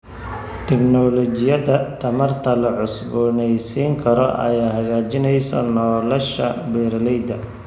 Tignoolajiyada tamarta la cusboonaysiin karo ayaa hagaajinaysa nolosha beeralayda.